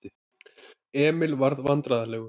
Emil varð vandræðalegur.